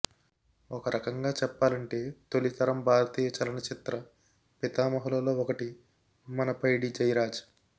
ఒక రకంగా చెప్పాలంటే తొలి తరం భారతీయ చలన చిత్ర పితామహులలో ఒకటి మన పైడిజైరాజ్